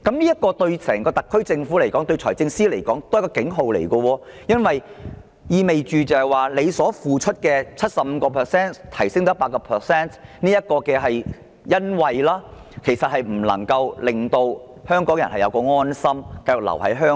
這對香港特區政府及財政司司長來說，都是一個警號，因為這意味司長雖提出調升退稅比率的優惠措施，但卻不能令香港人安心繼續留居香港。